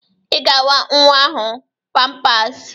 I ga awa nnwa ahụ pampasị!